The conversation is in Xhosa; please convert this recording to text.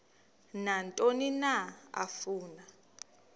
nantoni na afuna